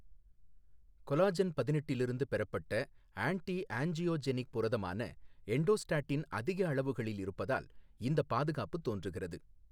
Collagen பதினெட்டிலிருந்து பெறப்பட்ட anti angiogenic புரதமான எண்டோஸ்டாட்டின் அதிக அளவுகளில் இருப்பதால் இந்தப் பாதுகாப்பு தோன்றுகிறது.